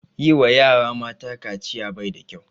Yi wa yara mata kaciya bai da kyau